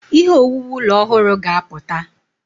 Ihe owuwu ụlọ ọhụrụ ga-apụta.